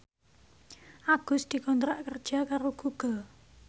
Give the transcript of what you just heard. Agus dikontrak kerja karo Google